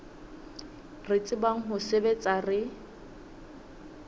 re tsebang ho sebetsa re